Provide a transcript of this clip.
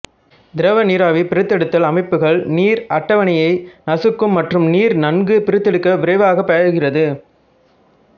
திரவ நீராவி பிரித்தெடுத்தல் அமைப்புகள் நீர் அட்டவணையை நசுக்கும் மற்றும் நீர் நன்கு பிரித்தெடுக்க விரைவாக பாய்கிறது